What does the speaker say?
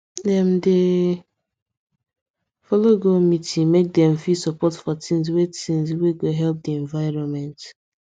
dem dey follow go meeting make dem fit support for things wey things wey go help the environment